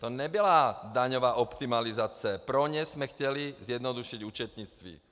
To nebyla daňová optimalizace, pro ně jsme chtěli zjednodušit účetnictví.